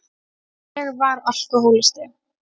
Ég var alkohólisti.